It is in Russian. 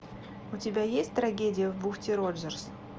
у тебя есть трагедия в бухте роджерс